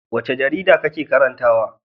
Wace jarida kake karantawa?